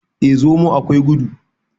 eh! zomo akwai gudu